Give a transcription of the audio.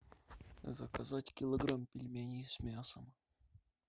заказать килограмм пельменей с мясом